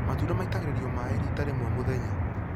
Matunda maitagĩrĩrio maaĩ rita rĩmwe mũthenya